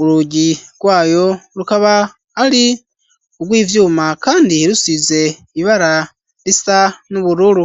urugi rwayo rukaba ari urwivyuma kandi rusize ibara risa n'ubururu.